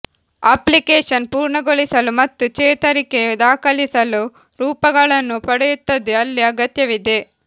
application ಪೂರ್ಣಗೊಳಿಸಲು ಮತ್ತು ಚೇತರಿಕೆ ದಾಖಲಿಸಲು ರೂಪಗಳನ್ನು ಪಡೆಯುತ್ತದೆ ಅಲ್ಲಿ ಅಗತ್ಯವಿದೆ